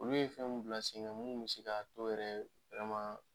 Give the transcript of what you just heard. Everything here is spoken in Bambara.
Olu ye fɛn min bila sen ŋa mun bɛ se ka to yɛrɛ